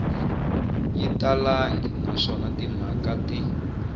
yi talangi naswona timhaka ti